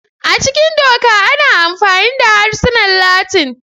A cikin Doka, ana amfani da harsunan Latin.